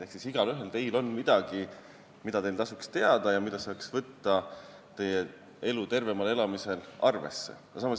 Ehk igaühel teist on midagi, mida tasuks teada ja mida saaks arvesse võtta, et elada oma elu tervemini.